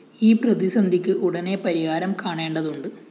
ഈ പ്രതിസന്ധിക്ക് ഉടനെ പരിഹാരം കാണേണ്ടതുണ്ട്